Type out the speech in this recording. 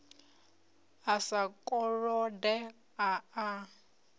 a sa kolode a a